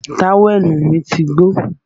Táwẹ̀nù mí ti gbó